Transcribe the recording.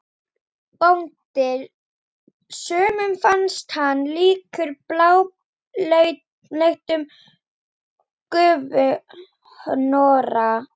BÓNDI: Sumum fannst hann líkur bláleitum gufuhnoðra.